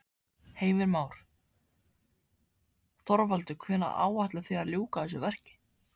Heimir Már: Þorvaldur hvenær áætlið þið að ljúka þessu verki?